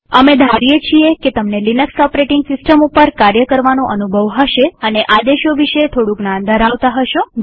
અમે ધારીએ છીએ કે તમને લિનક્સ ઓપરેટીંગ સિસ્ટમ ઉપર કાર્ય કરવાનો અનુભવ હશે અને આદેશો વિશે થોડું જ્ઞાન ધરાવતા હશો